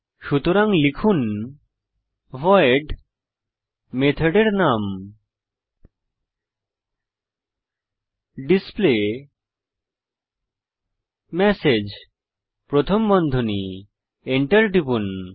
সুতরাং লিখুন ভয়েড মেথডের নাম ডিসপ্লেমেসেজ প্রথম বন্ধনী Enter টিপুন